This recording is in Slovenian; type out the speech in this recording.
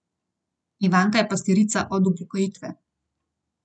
Ivanka je pastirica od upokojitve.